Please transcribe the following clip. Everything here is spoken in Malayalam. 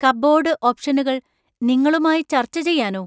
കപ്ബോർഡ് ഓപ്ഷനുകൾ നിങ്ങളുമായി ചർച്ച ചെയ്യാനോ?